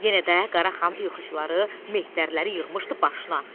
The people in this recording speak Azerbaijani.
Yenə də Qaraxan ilxıçıları, mehtərləri yığmışdı başına.